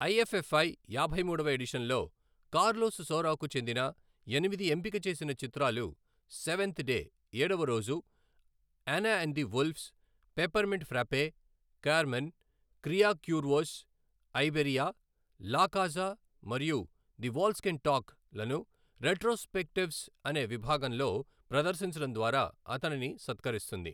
IFFI యాభై మూడవ ఎడిషన్లో కార్లోస్ సౌరాకు చెందిన ఎనిమిది ఎంపిక చేసిన చిత్రాలు సెవన్త్ డే ఏడవ రోజు, Anna and the wolves, peppermint frappe, Carmen, Cria Cuervos, Iberia, La Caza మరియు ది వాల్స్ కెన్ టాక్ లను రెట్రోస్పెక్టివ్స్ అనే విభాగంలో ప్రదర్శించడం ద్వారా అతనిని సత్కరిస్తుంది.